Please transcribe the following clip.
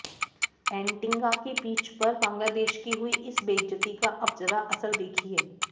Antigua की pitch पर बांग्लादेश की हुई इस बेइज्जती का अब जरा असर देखिए